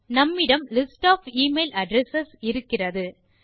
நம்மிடம் list of e mail address இருக்கிறது